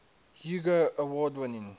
hugo award winning